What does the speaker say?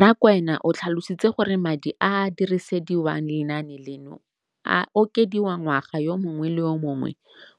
Rakwena o tlhalositse gore madi a a dirisediwang lenaane leno a okediwa ngwaga yo mongwe le yo mongwe